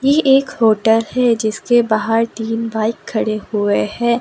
ये एक होटल है जिसके बाहर तीन बाइक खड़े हुए है।